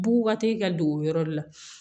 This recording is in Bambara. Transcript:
Bubakate ka don o yɔrɔ de la